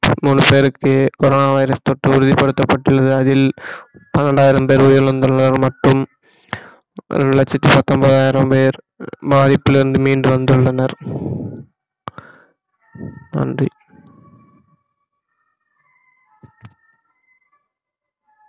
மூணு பேருக்கு corona virus தொற்று உறுதிப்படுத்தப்பட்டுள்ளது அதில் பன்னிரண்டாயிரம் பேர் உயிரிழந்துள்ளனர் மற்றும் ஒரு லட்சத்தி பத்தொன்பதாயிரம் பேர் பாதிப்பிலிருந்து மீண்டு வந்துள்ளனர் நன்றி